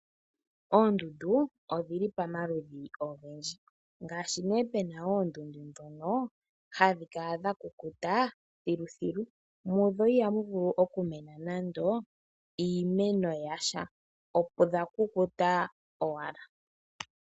Oondundu odhili pamaludhi ogendji. Ngaashi nee pena oondundu ndhono hadhi kala dha kukuta thilu thilu mudho ihamu vulu okumena nando iimeno yasha odha kukuta owala.